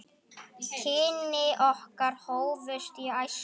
Kynni okkar hófust í æsku.